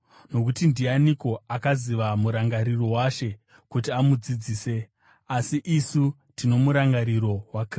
“Nokuti, ndianiko akaziva murangariro waShe kuti amudzidzise?” Asi isu tino murangariro waKristu.